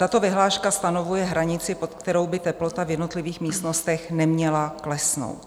Tato vyhláška stanovuje hranici, pod kterou by teplota v jednotlivých místnostech neměla klesnout.